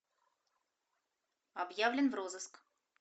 объявлен в розыск